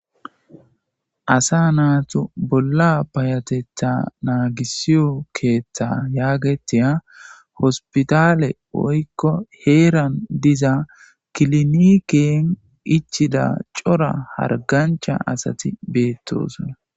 Asa natu bola payatetha nagisiyo keththa yagetiya hospitale woyko heran diza kiliniken ichida c'ora hargancha asati betosona.